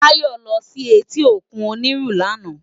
Bayo lò si éti ókún Oniru làná